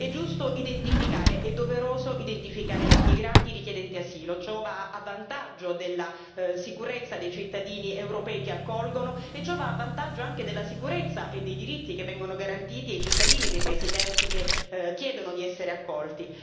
È giusto e doveroso identificare i migranti e i richiedenti asilo, ciò va a vantaggio della sicurezza dei cittadini europei che accolgono e va a vantaggio anche della sicurezza e dei diritti che vengono garantiti ai cittadini dei paesi terzi che chiedono di essere accolti.